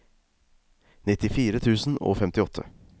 nittifire tusen og femtiåtte